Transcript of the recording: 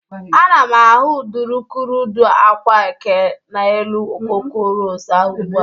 Ana m ahụ udukurudu agwa eke n'elu okoko ros ahụ ugbụ a.